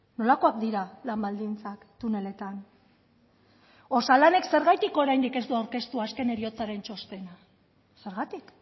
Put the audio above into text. nolakoak dira lan baldintzak tuneletan osalanek zergatik oraindik ez du aurkeztu azken heriotzaren txostena zergatik